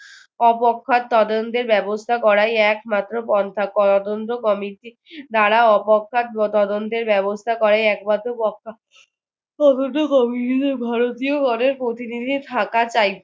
তদন্তের ব্যবস্থা করায় একমাত্র পন্থা তদন্ত committee দ্বারা বা তদন্তের ব্যবস্থা করায় একমাত্র পন্থা তদন্ত committee তে ভারতীয় অনেক প্রতিনিধি থাকাটা